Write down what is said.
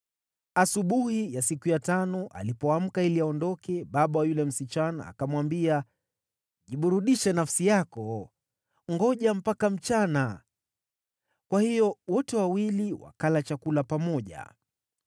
Asubuhi ya siku ya tano, alipoamka ili aondoke, baba wa yule msichana akamwambia, “Jiburudishe nafsi yako. Ngoja mpaka mchana!” Kwa hiyo wote wawili wakala chakula pamoja.